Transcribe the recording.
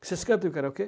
Vocês cantam o karaokê?